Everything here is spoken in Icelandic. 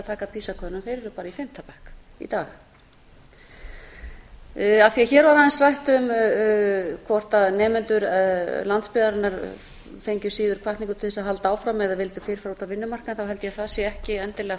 taka pisa könnun þeir eru bara í fimmta bekk í dag af því hér var aðeins rætt um hvort nemendur landsbyggðarinnar fengju síður hvatningu til þess að halda áfram eða vildu fyrr fara út á vinnumarkaðinn held ég að það sé ekki endilega